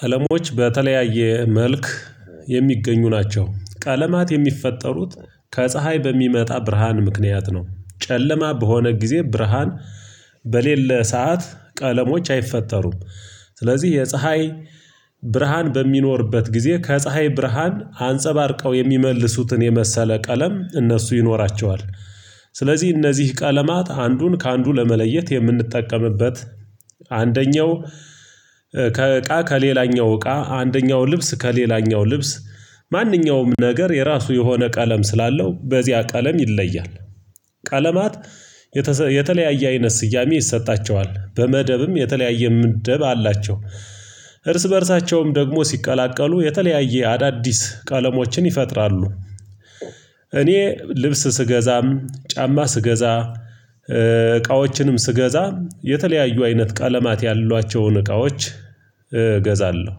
ቀለሞች በተለያየ መልክ የሚገኙ ናቸው። ቀለማት የሚፈጠሩት ከፀሀይ በሚመጣ ብርሃን ምክንያት ነው። ጨለማ በሆነ ጊዜ ብርሃን በሌለ ሰዓት ቀለሞች አይፈጠሩም። ስለዚህ የፀሀይ ብርሃን በሚኖርበት ጊዜ ከፀሀይ ብርሃን አንጸባርቀው የሚመልሱትን የመሰለ ቀለም እነሱ ይኖራቸዋል። ስለዚህ እነዚህ ቀለማት አንዱን ከአንዱ ለመለየት የምንጠቀምበት አንደኛው ከእቃ ከሌላኛው እቃ አንደኛው ልብስ ከሌላኛው ልብስ ማንኛውም ነገር የራሱ የሆነ ቀለም ስላለው በዚያ ቀለም ይለያል። ቀለማት የተለያየ አይነት ስያሜ ይሰጣቸዋል በመደብም የተለያየ ምድብ አላቸው። እርስ በእርሳቸውም ደግሞ ሲቀላቀሉ የተለያየ አዳዲስ ቀለሞችን ይፈጥራሉ። እኔ ልብስ ስገዛም ጫማ ስገዛ እቃዎችንም ስገዛ የተለያዩ አይነት ቀለማት ያሏቸውን እቃዎች እገዛለሁ።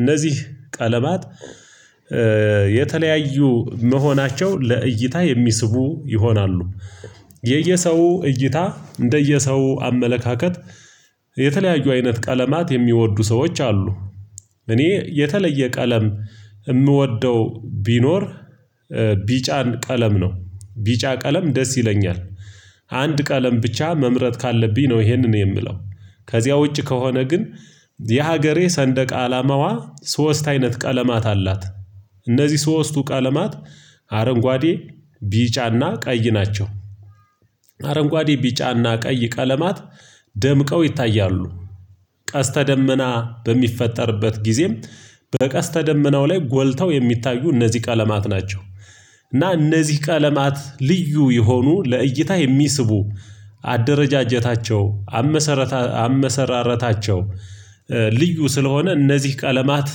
እነዚህ ቀለማት የተለያዩ መሆናቸው ለእይታ የሚስቡ ይሆናሉ። የየሰው እይታ እንደየሰው አመለካከት የተለያዩ አይነት ቀለማት የሚወዱ ሰዎች አሉ። እኔ የተለየ ቀለም የምወደው ቢኖር ቢጫን ቀለም ነው። ቢጫ ቀለም ደስ ይለኛል። አንድ ቀለም ብቻ መምረጥ ካለብኝ ነው ይሄንን የምለው። ከዚያ ውጪ ከሆነ ግን የሀገሬ ሰንደቅ አላማዋ ሶስት አይነት ቀለማት አላት። እነዚህ ሶስቱ ቀለማት አረንጓዴ ቢጫና ቀይ ናቸው። አረንጓዴ ቢጫና ቀይ ቀለማት ደምቀው ይታያሉ። ቀስተ ደመና በሚፈጠርበት ጊዜም በቀስተ ደመናው ላይ ጎልተው የሚታዩ እነዚህ ቀለማት ናቸው። እና እነዚህ ቀለማት ልዩ የሆኑ ለእይታ የሚስቡ አደረጃጀታቸው አመሰረታ አመሰራረታቸው ልዩ ስለሆነ እነዚህ ቀለማት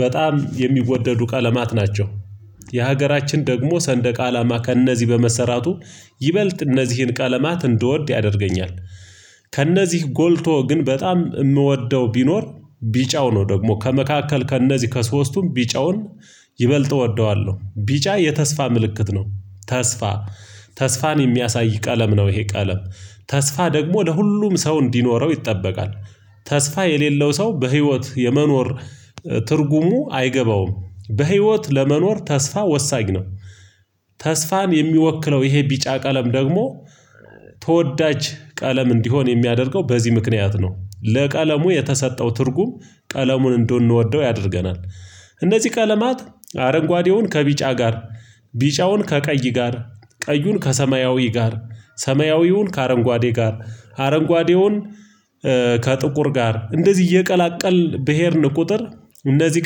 በጣም የሚወደዱ ቀለማት ናቸው። የሀገራችን ደግሞ ሰንደቅ አላማ ከእነዚህ በመሰራቱ ይበልጥ እነዚህን ቀለማት እንድወድ ያደርገኛል። ከእነዚህ ጎልቶ ግን በጣም የምወደው ቢኖር ቢጫው ነው ደግሞ ከመካከል ከእነዚህ ከሶስቱም ቢጫውን ይበልጥ እወደዋለሁ ቢጫ የተስፋ ምልክት ነው። ተስፋ ተስፋን የሚያሳይ ቀለም ነው። ይሄ ቀለም ተስፋ ደግሞ ለሁሉም ሰው እንዲኖረው ይጠበቃል። ተስፋ የሌለው ሰው በህይወት የመኖር ትርጉሙ አይገባውም በህይወት ለመኖር ተስፋ ወሳኝ ነው። ተስፋን የሚወክለው ይሄ ቢጫ ቀለም ደግሞ ተወዳጅ ቀለም እንዲሆን የሚያደርገው በዚህ ምክንያት ነው። ለቀለሙ የተሰጠው ትርጉም ቀለሙን እንድንወደው ያደርገናል። እነዚህ ቀለማት አረንጓዴውን ከቢጫ ጋር ቢጫውን ከቀይ ጋር ቀዩን ከሰማያዊ ጋር ሰማያዊውን ከአረንጓዴ ጋር አረንጓዴውን ከጥቁር ጋር እንደዚህ እየቀላቀልን ብሄድን ቁጥር እነዚህ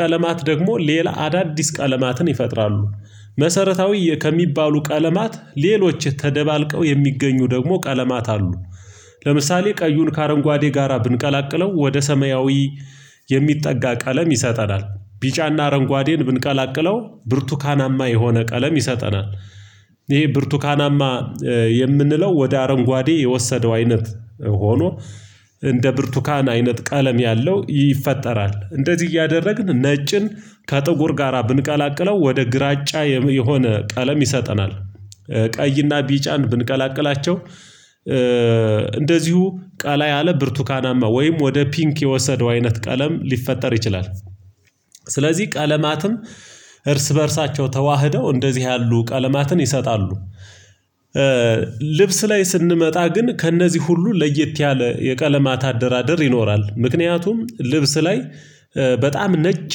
ቀለማት ደግሞ ሌላ አዳዲስ ቀለማትን ይፈጥራሉ። መሰረታዊ ከሚባሉ ቀለማት ሌሎች የተደባልቀው የሚገኙ ደግሞ ቀለማት አሉ። ለምሳሌ ቀዩን ከአረንጓዴ ጋራ ብንቀላቅለው ወደ ሰማያዊ የሚጠጋ ቃለም ይሰጠናል ቢጫና አረንጓዴን ብንቀላቅለው ብርቱካናማ የሆነ ቀለም ይሰጠናል። ይሄ ብርቱካናማ የምንለው ወደ አረንጓዴ የወሰደው አይነት ሆኖ እንደ ብርቱካን አይነት ቀለም ያለው ይፈጠራል። እንደዚህ እያደረግን ነጭን ከጥቁር ጋራ ብንቀላቅለው ወደ ግራጫ የሆነ ቀለም ይሰጠናል። ቀይና ቢጫን ብንቀላቅላቸው እንደዚሁ ቀላ ያለ ብርቱካናማ ወይም ወደ ፒንክ የወሰደው አይነት ቀለም ሊፈጠር ይችላል። ስለዚህ ቀለማትም እርስ በእርሳቸው ተዋህደው እንደዚህ ያሉ ቀለማትን ይሰጣሉ። ልብስ ላይ ስንመጣ ግን ከእነዚህ ሁሉ ለየት ያለ የቀለማት አደራደር ይኖራል። ምክንያቱም ልብስ ላይ በጣም ነጭ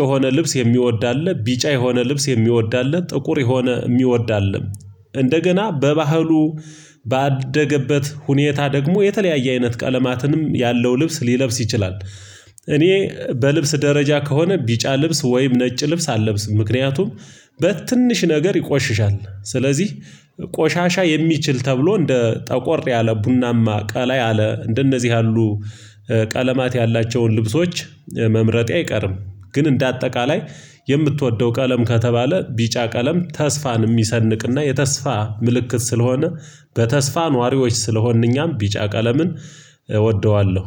የሆነ ልብስ የሚወዳለህ ቢጫ የሆነ ልብስ የሚወዳለህ ጥቁር የሆነ የሚወዳለህ እንደገና በባህሉ ባደገበት ሁኔታ ደግሞ የተለያየ አይነት ቀለማትንም ያለው ልብስ ሊለብስ ይችላል። እኔ በልብስ ደረጃ ከሆነ ቢጫ ልብስ ወይም ነጭ ልብስ አልለብስም ምክንያቱም በትንሽ ነገር ይቆሽሻል። ስለዚህ ቆሻሻ የሚችል ተብሎ እንደ ጠቆር ያለ ቡናማ ቀላይ አለ እንደነዚህ ያሉ ቀለማት ያላቸውን ልብሶች መምረጤ አይቀርም። ግን እንደ አጠቃላይ የምትወደው ቀለም ከተባለ ቢጫ ቀለም ተስፋን የሚሰንቅና የተስፋ ምልክት ስለሆነ በተስፋ ነዋሪዎች ስለሆንን እኛም ቢጫ ቀለምን እወደዋለሁ።